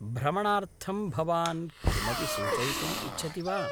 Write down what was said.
भ्रमणार्थं भवान् किमपि सूचयितुम् इच्छति वा?